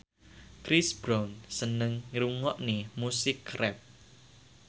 Chris Brown seneng ngrungokne musik rap